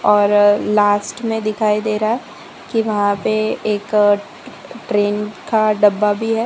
और लास्ट में दिखाई दे रहा है कि वहां पे एक ट ट्रेन का डब्बा भी है।